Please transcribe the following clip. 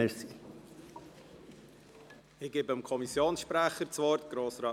Ich gebe zuerst dem Kommissionssprecher das Wort.